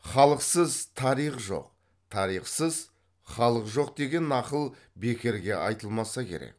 халықсыз тарих жоқ тарихсыз халық жоқ деген нақыл бекерге айтылмаса керек